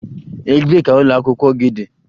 Ebee ka ụlọ akwụkwọ gị dị?